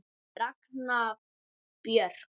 Ragna Björk.